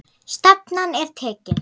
Stefnan er tekin.